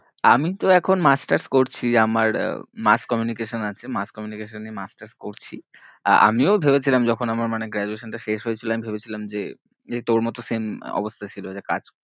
আমি তো এখন masters করছি আমার mass communication আছে mass communication নিয়ে masters করছি। আমিও ভেবেছিলাম যখন আমার মানে graduation টা শেষ হয়েছিল আমি ভেবেছিলাম যে তোর মতন same অবস্থা ছিল যে কাজ